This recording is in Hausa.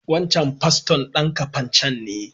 Wancan paston dan Kafacan ne.